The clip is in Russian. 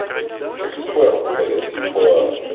эксперт блять по